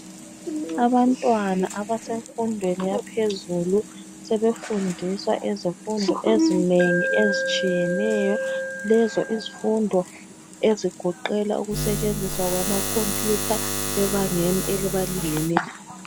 Abantwana abasemfundweni yaphezulu sebefundiswa izifundo ezinengi ezitshiyeneyo .Lezo izifundo ezigoqela ukusetshenziswa kwama computer ebangeni elibalingeneyo